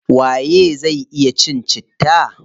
Waye zai iya cin citta?